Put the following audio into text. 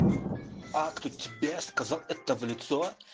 а кто тебе сказал это в лицо